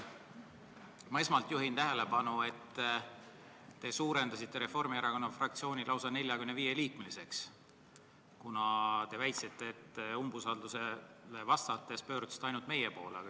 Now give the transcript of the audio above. Ma esmalt juhin tähelepanu, et te suurendasite Reformierakonna fraktsiooni lausa 45-liikmeliseks, kuna te umbusaldusavaldusele vastates pöördusite ainult meie poole.